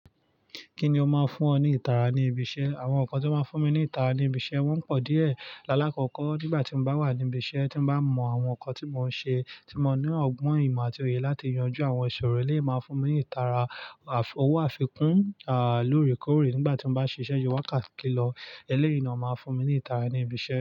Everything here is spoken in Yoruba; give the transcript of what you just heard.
Kí ni ó máa ń fún ọ ní ìtara ní ibi iṣẹ́? Àwọn nǹkan tí ó máa ń fún mi ní ìtara ní ibi iṣẹ́ wọ́n pọ̀ díẹ̀. Lálákọkọ, nígbà tí m bá wà nibi iṣẹ́ tí m bá mọ àwọn nǹkan tí mò ń ṣe, tí mo ní ọgbọ́n, ìmọ̀ àti òye láti yanjú àwọn ìṣòro, eleyii máa n fún mi ní ìtara. Àf- owó àfikún lóorèkóorè nígbà tí mo bá ṣiṣẹ́ ju iye wakati lọ, eleyii naa máa n fún mi ní ìtara ní ibi iṣẹ́.